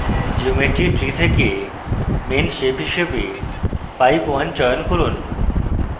geometry tree থেকে main shape হিসাবে pipe _ 1 চয়ন করুন